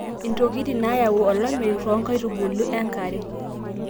intokitin naayau olameyu too nkaitubuli enkare